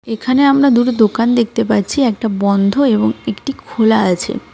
এখানে আমরা দুটো দোকান দেখতে পাচ্ছি একটা বন্ধ এবং একটি খোলা আছে .